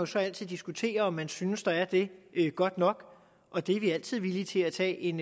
så altid diskutere om man synes der er det godt nok og det er vi altid villige til at tage en